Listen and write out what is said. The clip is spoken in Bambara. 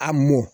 A mɔ